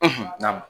n'a ma